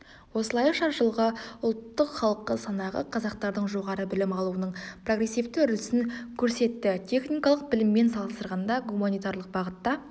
осылайша жылғы ұлттық халық санағы қазақтардың жоғары білімі алуының прогрессивті үрдісін көрсеттітехникалық біліммен салыстырғанда гуманитарлық бағытта